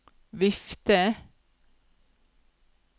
vifte